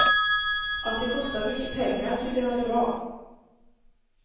Att det kostar mycket pengar tycker han är bra.